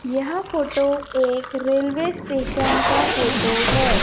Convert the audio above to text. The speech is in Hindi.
यह फोटो एक रेलवे स्टेशन का फोटो है।